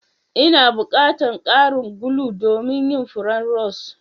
N'na bukatan karin gulu domin yin furen rose.